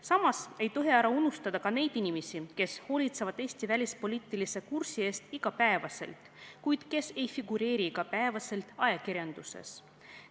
Samas ei tohi ära unustada ka neid inimesi, kes hoolitsevad Eesti välispoliitilise kursi eest igapäevaselt, kuid kes ei figureeri igapäevaselt ajakirjanduses.